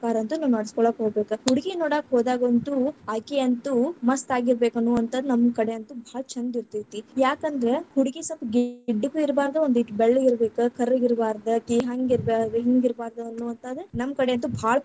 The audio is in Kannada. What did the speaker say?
ಪ್ರಕಾರ ಅಂತೂ ನಾವ್‌ ನಡಸ್ಕೊಳ್ಹೋಗಬೇಕ, ಹುಡುಗಿ ನೋಡಾಕ ಹೋದಾಗಂತೂ ಅಕಿ ಅಂತೂ ಮಸ್ತಾಗಿರ್ಬೇಕ ಅನ್ನುವಂಥಾದ್‌ ನಮ್ ಕಡೆ ಅಂತೂ ಭಾಳ ಛಂದ್ ಇರ್ತೇತಿ, ಯಾಕಂದ್ರ ಹುಡಗಿ ಸಲ್ಪ ಗಿಡ್ಡಗೂ ಇರಬಾರದು ಒಂದೀಟ್ ಬೆಳ್ಳಗಿರಬೇಕ್, ಕರ್ರಗ್‌ ಇರಬಾರದ್‌, ಆಕಿ ಹಂಗರ್ಬಾರ್ದ, ಹಿಂಗಿರ್ಬಾರ್ದ ಅನ್ನುವಂಥಾದ ನಮ್ಮಕಡೆ ಅಂತೂ ಭಾಳ.